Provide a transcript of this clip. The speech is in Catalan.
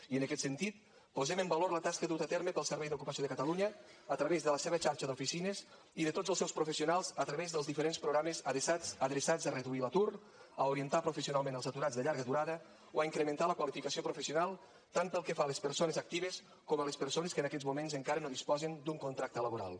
i en aquest sentit posem en valor la tasca duta a terme pel servei d’ocupació de catalunya a través de la seva xarxa d’oficines i de tots els seus professionals a través dels diferents programes adreçats a reduir l’atur a orientar professionalment els aturats de llarga durada o a incrementar la qualificació professional tant pel que fa a les persones actives com a les persones que en aquests moments encara no disposen d’un contracte laboral